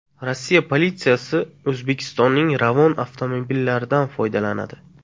Rossiya politsiyasi O‘zbekistonning Ravon avtomobillaridan foydalanadi.